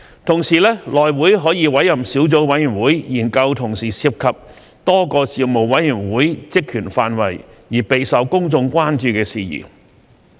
同時，內會可委任小組委員會，研究同時涉及多個事務委員會職權範圍而備受公眾關注的事宜。